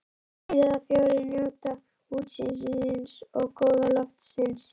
Þrír eða fjórir njóta útsýnisins og góða loftsins.